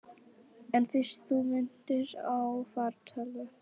En fyrst þú minntist á fartölvu.